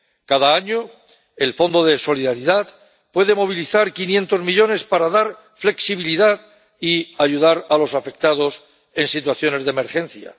Cada año el Fondo de Solidaridad puede movilizar 500 millones para dar flexibilidad y ayudar a los afectados en situaciones de emergencia.